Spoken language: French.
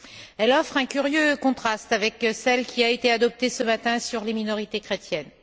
Elle offre un curieux contraste avec celle qui a été adoptée ce matin sur les minorités chrétiennes.